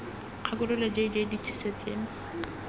kgakololo j j dithuso tseno